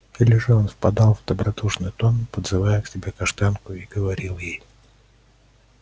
или же он впадал в добродушный тон подзывая к себе каштанку и говорил ей